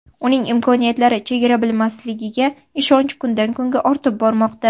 Uning imkoniyatlari chegara bilmasligiga ishonch kundan-kunga ortib bormoqda.